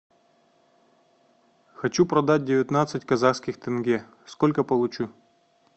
хочу продать девятнадцать казахских тенге сколько получу